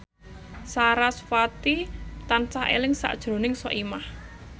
sarasvati tansah eling sakjroning Soimah